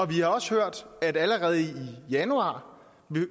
vi har også hørt at allerede i januar